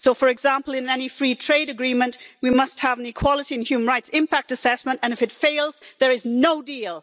So for example, in any free trade agreement, we must have an equality and human rights impact assessment, and if it fails, there is no deal.